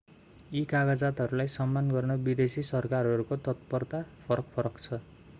यी कागजातहरूलाई सम्मान गर्न विदेशी सरकारहरूको तत्परता फरक फरक छ